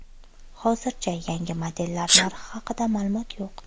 Hozircha yangi modellar narxi haqida ma’lumot yo‘q.